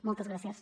moltes gràcies